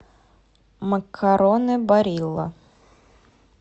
макароны барилла